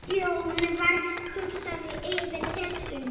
Stjáni varð hugsi yfir þessu.